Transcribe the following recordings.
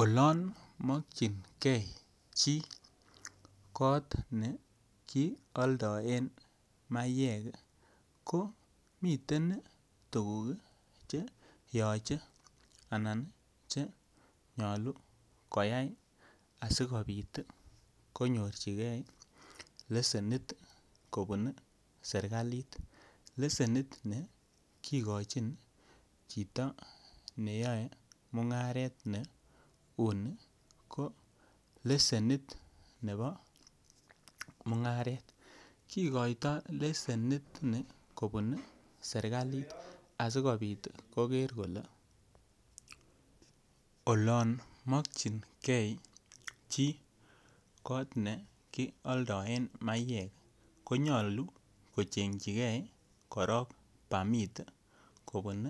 Olon mokyingee chi kot ne kioldoen mayek ko miten tuguk che yoche anan che nyoluu koyay asikopit konyorjigee lesenit kobun serkalit lesenit ne kigochin chito neyoe mung'aret ne uni ko lesenit nebo mung'aret. Kigoito lesenit ni kobun serkalit asikopit koger kole olon mokyingei chi kot ne kioldoen mayek ko nyoluu ko chengyigee permit kobun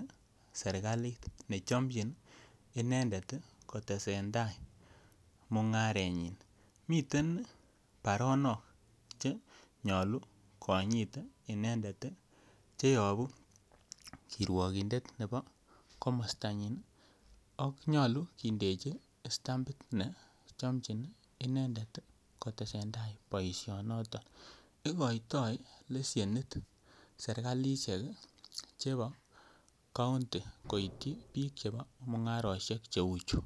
serkalit ne chomchin inendet ko tesentai mung'arenyin. Miten baronok che nyoluu konyit inendet ii cheyobu kirwogindet nebo komostanyin ii ak nyoluu kindeji stampit ne chomchin inendet kotesen tai boision noton. Igoito leshenit serkalishek chebo kounti koityi biik chebo mung'aroshek che uu chu.